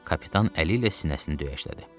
Kapitan əli ilə sinəsini döyəşlədi.